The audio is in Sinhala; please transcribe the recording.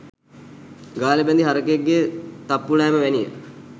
ගාලෙ බැඳි හරකෙක්ගේ තප්පු ලෑම වැනිය.